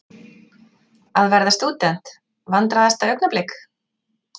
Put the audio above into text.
Að verða stúdent Vandræðalegasta augnablik?